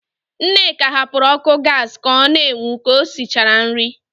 Nneka hapụrụ ọ́kụ́ gaasị ka ọ na-enwu ka o sichara nri.